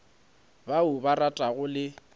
ba o ba ratago le